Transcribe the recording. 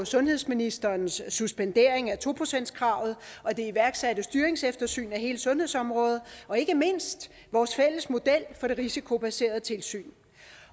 sundhedsministerens suspendering af to procentskravet og det iværksatte styringseftersyn af hele sundhedsområdet og ikke mindst vores fælles model for det risikobaserede tilsyn